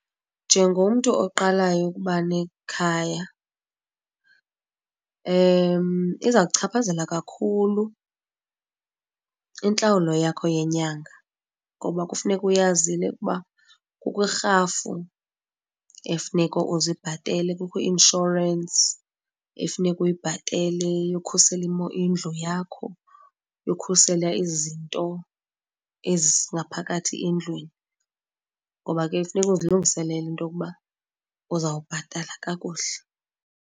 Njengomntu oqalayo ukuba nekhaya iza kukuchaphazela kakhulu intlawulo yakho yenyanga ngoba kufuneka uyazile ukuba kukho irhafu efuneka uzibhatele kukho i-inshorensi ekufuneka uyibhatele yokhusela indlu yakho, yokhusela izinto ezingaphakathi endlwini ngoba ke funeka uzilungiselele into yokuba uzawubhatala kakuhle.